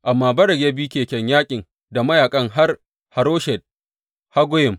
Amma Barak ya bi keken yaƙin da mayaƙan har Haroshet Haggoyim.